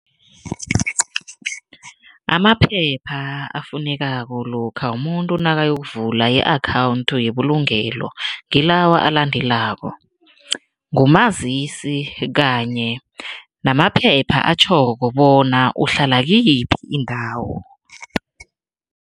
Amaphepha afunekako lokha umuntu nakayokuvula i-akhawundi yebulungelo ngilawa alandelako, ngumazisi kanye namaphepha atjhoko bona uhlala kiyiphi indawo.